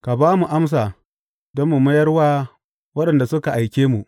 Ka ba mu amsa don mu mayar wa waɗanda suka aike mu.